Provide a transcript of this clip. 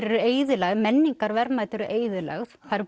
eru eyðilagðir menningarverðmæti eru eyðilögð það eru